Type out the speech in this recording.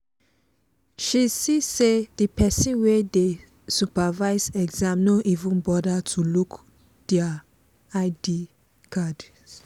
she see say the person wey dey supervise exam no even bother to look their id cards.